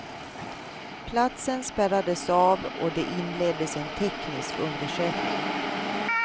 Platsen spärrades av och det inleddes en teknisk undersökning.